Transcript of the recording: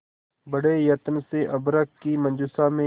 बड़े यत्न से अभ्र्रक की मंजुषा में